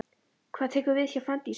Hvað tekur við hjá Fanndísi?